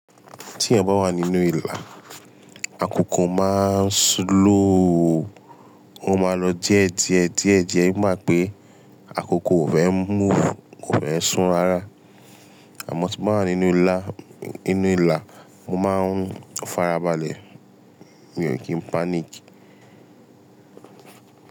Tí èèyàn bá wà nínú ìlà, àkókò máa ń slow o, ó máa lọ díẹ̀ díẹ̀ díẹ̀ díẹ̀, ó máa pé àkókò ò fẹ́ move, kò fẹ́ sún rárá. Àmọ́ tí mo bá wà nínú ìlà, nínú ìlà, mo máa ń farabalẹ̀, mi ò kí n panic.